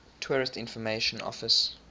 tourist information office